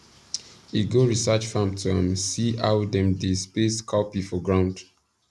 e go research farm to um see how dem dey space cowpea for ground